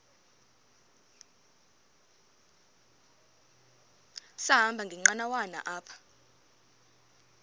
sahamba ngenqanawa apha